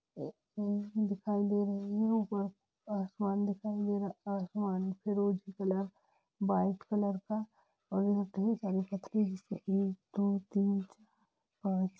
दिखाई दे रही है ऊपर आसमान दिखाई दे रहा है आसमान फिरोजी व्हाइट कलर का एकदो तीन चार पांच --